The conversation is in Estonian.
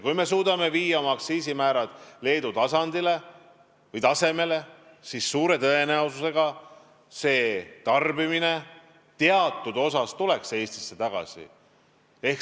Kui me suudame viia oma aktsiisimäärad Leedu tasemele, siis suure tõenäosusega tuleks tarbimine teatud osas Eestisse tagasi.